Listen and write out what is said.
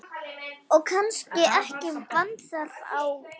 Og kannski ekki vanþörf á.